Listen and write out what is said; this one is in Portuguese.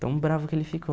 Tão bravo que ele ficou.